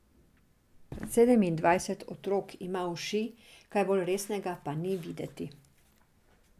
Sedemindvajset otrok ima uši, kaj bolj resnega pa ni videti.